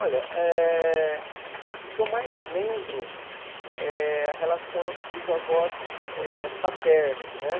Olha, eh o que eu mais lembro é a relação dos avós eh paternos, né?